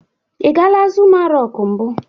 Ị gala Zuma rọk mbụ?